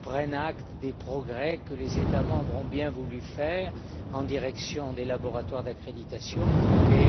prenne acte des progrès que les États membres ont bien voulu faire en direction de l'accréditation des